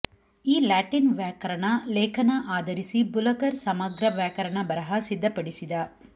ಈ ಲ್ಯಾಟಿನ್ ವ್ಯಾಕರಣ ಲೇಖನ ಆಧರಿಸಿ ಬುಲಕರ್ ಸಮಗ್ರ ವ್ಯಾಕರಣ ಬರಹ ಸಿದ್ದಪಡಿಸಿದ